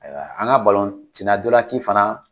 Ayiwa, an ka balon sen na n tolaci fana